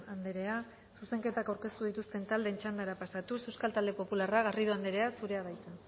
andrea zuzenketak aurkeztu dituzten taldeen txandara pasatuz euskal talde popularra garrido andrea zure da hitza